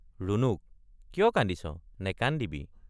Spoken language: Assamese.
ৰুণুক—কিয় কান্দিছনেকান্দিবি।